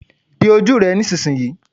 Di ojú rẹ nísinsìnyí.